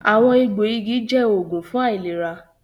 “Àwọn egbò igi” jẹ́ oògùn fún àìlera